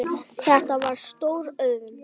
Þetta var stór auðn.